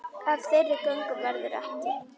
Af þeirri göngu verður ekki.